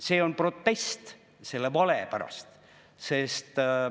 See on protest selle vale pärast.